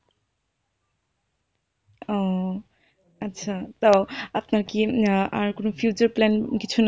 ও আচ্ছা তো আপনার কি আর কোনো future plan কিছু?